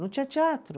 Não tinha teatro.